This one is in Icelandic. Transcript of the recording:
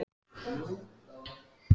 Hún horfði í augu hans en hann leit undan.